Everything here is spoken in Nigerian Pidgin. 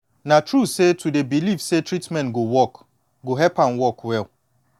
na true say to dey believe say treatment go work go help am work well